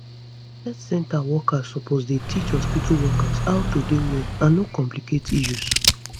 health center workers suppose dey teach hospitu workers how to dey well and no complicate issues